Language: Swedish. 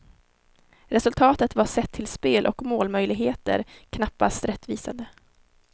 Resultatet var sett till spel och målmöjligheter knappast rättvisande.